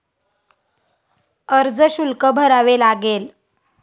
अर्जशुल्क भरावे लागेल.